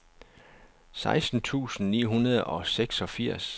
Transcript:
seksten tusind ni hundrede og seksogfirs